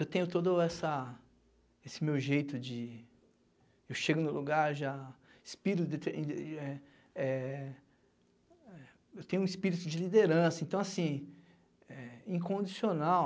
Eu tenho todo essa esse meu jeito de... eu chego no lugar já... espirito, eh eh eu tenho um espírito de liderança, então, assim, eh incondicional.